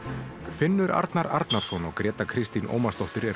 Finnur Arnar Arnarson og Gréta Kristín Ómarsdóttir eru